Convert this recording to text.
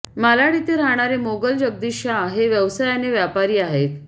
मालाड येथे राहणारे मोगल जगदीश शहा हे व्यवसायाने व्यापारी आहेत